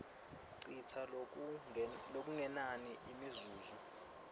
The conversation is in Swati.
citsa lokungenani imizuzu